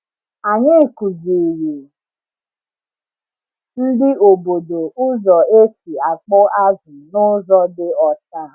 Anyị kụziri ndị obodo ụzọ esi akpụ azụ n’ụzọ dị ọcha.